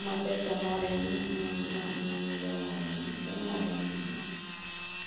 Uma pessoa morena, uma uma uma mulher morena, bem morena mesmo.